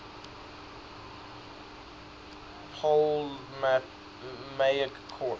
ptolemaic court